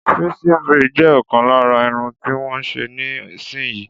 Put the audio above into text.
Pixie braid jẹ ọkan lára Irun tí wón ń ṣe níì sin yìí.